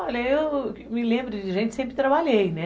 Olha, eu me lembro de gente que sempre trabalhei, né?